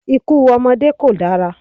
Ikú ọmọdé kò dára.